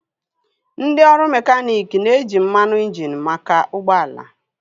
Ndị ọrụ mekaniiki na-eji mmanụ injini maka ụgbọala